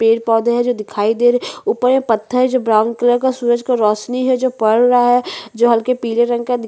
पेड़ पौधे है जो दिखाई दे रहै है ऊपर पत्थर जो ब्राउन कलर का सूरज का रोशनी है जो पड़ रहा है जो हल्के पीले रंग का दि --